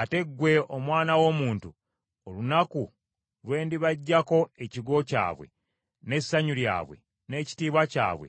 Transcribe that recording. “Ate ggwe, omwana w’omuntu, olunaku lwe ndibaggyako ekigo kyabwe, n’essanyu lyabwe n’ekitiibwa kyabwe,